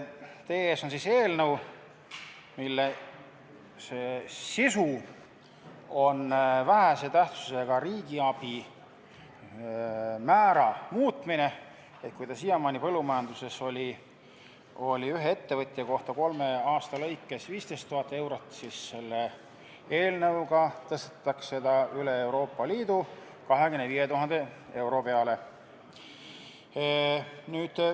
Teie ees on eelnõu, mille sisuks on vähese tähtsusega riigiabi määra muutmine: siiamaani oli see põllumajanduses ühe ettevõtja kohta kolme aasta lõikes 15 000 eurot, aga selle eelnõuga tõstetakse see üle Euroopa Liidu 25 000 euroni.